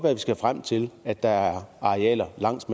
at vi skal frem til at der er arealer langs